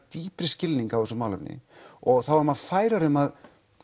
dýpri skilning á þessu málefni og þá er maður færari um að